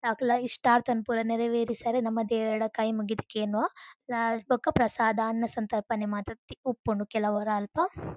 ಅಕಲ್ನ ಇಷ್ಟಾರ್ಥನ್ ಪುರ ನೆರವೇರಿಸರೆ ನಮ ದೇವೆರ್ಡ ಕೈ ಮುಗಿದ್ ಕೇನುವ ಬೊಕ್ಕ ಪ್ರಸಾದ ಅನ್ನ ಸಂತರ್ಪಣೆ ಮಾತ ತಿಕ್ಕು ಉಪ್ಪುಂಡು ಕೆಲವೊರ ಅಲ್ಪ.